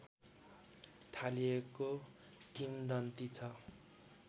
थालिएको किंवदन्ती छ